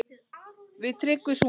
Við Tryggvi sungum